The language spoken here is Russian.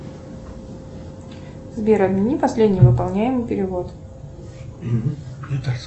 сбер отмени последний выполняемый перевод